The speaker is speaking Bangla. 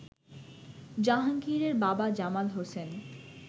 জাহাঙ্গীরের বাবা জামাল হোসেন